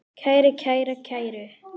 kæri, kæra, kæru